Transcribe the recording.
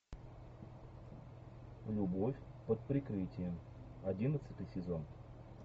любовь под прикрытием одиннадцатый сезон